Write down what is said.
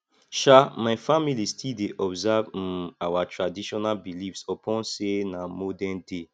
um my family still dey observe um our traditional beliefs upon sey na modernday